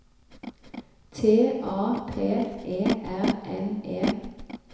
T A P E R N E